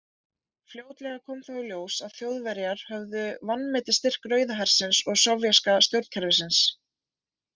Fljótlega kom þó í ljós að Þjóðverjar höfðu vanmetið styrk Rauða hersins og sovéska stjórnkerfisins.